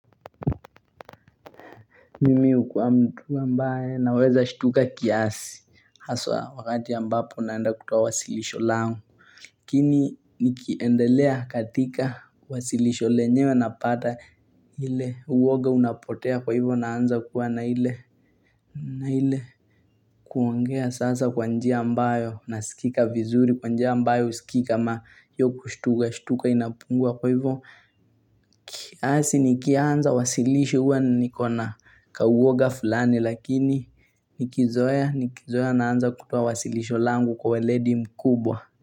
Mimi hukuwa mtu ambae naweza shtuka kiasi haswa wakati ya ambapo naenda kutoa wasilisho langu. Nikiendelea katika wasilisho lenyewe napata hile uwoga unapotea kwa hivyo naanza kuwa na ile kuongea sasa kwanjia ambayo nasikika vizuri kwanjia mbayo sikikii kama hiyo kushtuka shtuka inapungua kwa hivyo. Kiasi nikianza wasilisho huwa nikona kauoga fulani lakini nikizoea nikizoea naanza kutoa wasilisho langu kwa we ledi mkubwa.